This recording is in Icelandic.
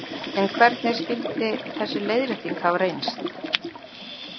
En hvernig skyldi þessi leiðrétting hafa reynst?